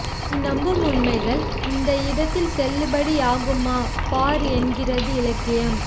நீ நம்பும் உண்மைகள் இந்த இடத்தில் செல்லுபடியாகுமா பார் என்கிறது இலக்கியம்